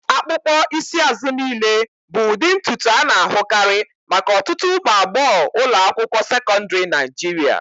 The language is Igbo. Akpụkpọ isi azụ niile bụ ụdị ntutu a na-ahụkarị maka ọtụtụ ụmụ agbọghọ ụlọ akwụkwọ sekọndrị Naijiria.